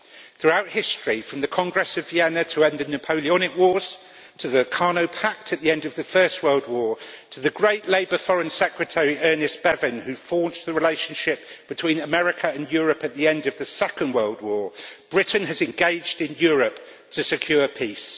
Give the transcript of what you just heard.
Throughout history, from the Congress of Vienna to the end of the Napoleonic Wars, to the Locarno Pact at the end of the First World War to the great Labour Foreign Secretary Ernest Bevin, who forged the relationship between America and Europe at the end of the Second World War, Britain has engaged in Europe to secure peace.